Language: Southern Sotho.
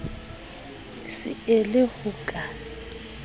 se e le ho ka